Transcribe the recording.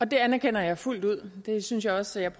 det anerkender jeg fuldt ud og jeg synes også